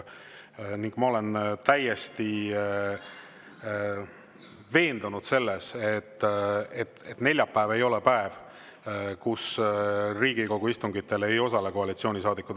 Ja ma olen täiesti veendunud selles, et neljapäev ei ole see päev, kui Riigikogu istungitel ei osale koalitsioonisaadikud.